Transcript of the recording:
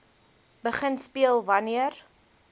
begin speel wanneer